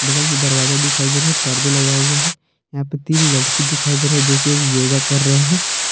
बगल में दरवाजा दिखाई दे रहे हैं परदे लगाए गए हैं यहाँ पे तीन लड़की दिखाई दे रहे हैं जोकि अभी योगा कर रहे हैं।